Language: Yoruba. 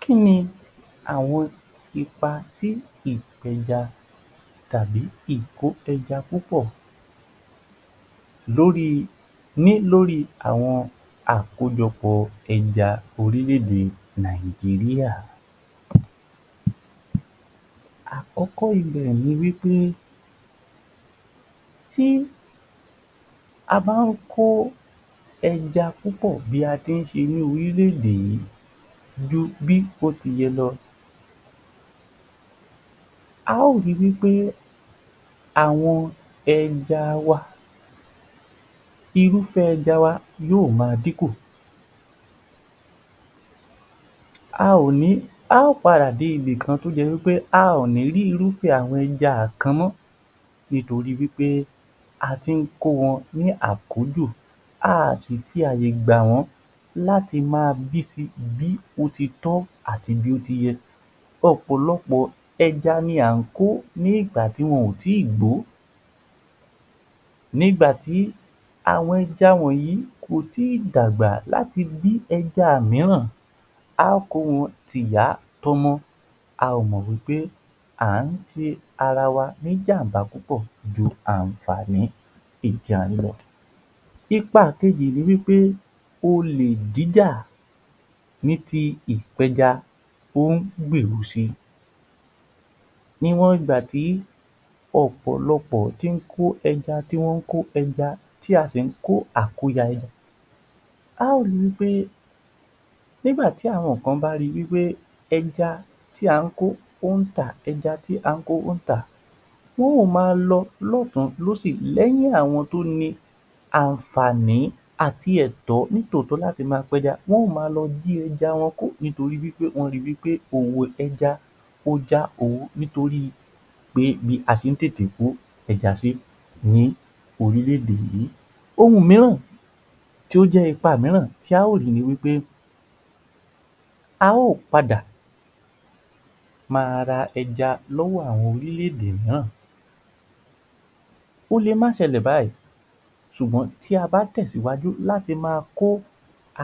Kí ni àwọn ipa tí ìfẹ́ja tàbí ìko ẹja púpọ̀ ní lórí àwọn àkójọpọ̀ ẹja ní orílé-ede Nàìjíríà. Àkọ́kọ́ ibẹ̀ ni pé tí a bá ń kó ẹja púpọ̀ bí àti ń ṣe ní orílè-èdè yìí ju bí ó ti yẹ lọ a ó rí wí pé àwọn ẹja wá irúfé ẹja wa yóò ma díkùn a ó padà dé ibi kan tí ó jẹ́ pé a ó ní rí irúfé àwọn ẹja kan mọ́ nítorí pé a ti ń kó wọn àkójù, a ó si fi àyè gbà wọ́n láti má bí si bí ó ti tọ́ àti bí ó ti yẹ. Ọ̀pọ̀lọpọ̀ ẹja ni a ń kó nígbà tí wọ́n ò gbò ó ìgbà tí àwọn ẹja yìí kò tíì dàgbà láti bí ẹja mìíràn, a ó kó wọn tìyá tọmọ a ó mọ̀ wí pé a ń ṣe ara wa ní ìjàmbá púpọ̀ ju àǹfààní ẹja lọ. Ipa kejì ni pé olè jíjà ní ti ìpẹ́ja ó ń gbérù si Níwọ̀n ìgbà tí ọ̀pọ̀lọpọ̀ tí ń kó ẹja tí wọ́n ń kó ẹja tí a sì ń kó àkóya ẹja, a ó ri wí pé nígbà tí àwọn kan bá ri pé ẹja tí a ń kó ó ń tà, ẹja tí à ń kó ó ń tà á wọn a ma lọ lọ́ọ̀tún lósì lẹ́yìn àwọn àǹfààní àti àwọn ẹ̀tọ ni tòótọ́ láti ma pẹja wọ́n a ma lọ jí ẹja wọn kó nítorí pé wọ́n rí pé owó ni òwò ẹja ó já owó nítorí bí a ṣe ń tètè kó ẹja sí ní orílè-èdè yìí. Ohun mìíràn tí ó jẹ́ ipa mìíràn tí a ò rí ní pé a ó padà ma ra ẹja lọ́wọ́ àwọn orílè-èdè mìíràn, ó lè má ṣẹlẹ̀ báyìí ṣùgbọ́n tí a bá tẹ̀sìwájú láti ma kó